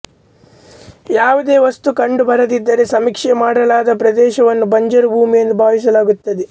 ಯಾವುದೇ ವಸ್ತು ಕಂಡುಬರದಿದ್ದರೆ ಸಮೀಕ್ಷೆ ಮಾಡಲಾದ ಪ್ರದೇಶವನ್ನು ಬಂಜರು ಭೂಮಿಯೆಂದು ಭಾವಿಸಲಾಗುತ್ತದೆ